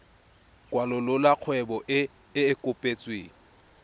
kwalolola kgwebo e e kopetsweng